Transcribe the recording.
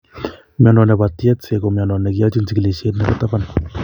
Mnyondo nebo Tietze ko mnyondo ne kiyochin chikilisiet nebo taban